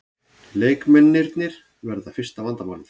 Leikmennirnir verða fyrsta vandamálið